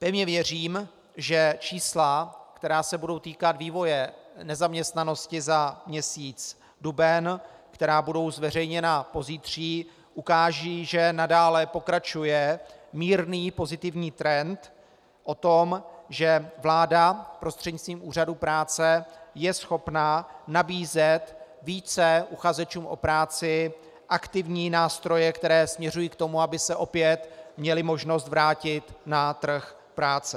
Pevně věřím, že čísla, která se budou týkat vývoje nezaměstnanosti za měsíc duben, která budou zveřejněna pozítří, ukážou, že nadále pokračuje mírný pozitivní trend o tom, že vláda prostřednictvím úřadů práce je schopna nabízet více uchazečům o práci aktivní nástroje, které směřují k tomu, aby se opět měli možnost vrátit na trh práce.